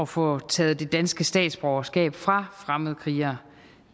få taget det danske statsborgerskab fra fremmedkrigere